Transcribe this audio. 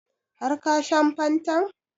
Har ka shan fantan?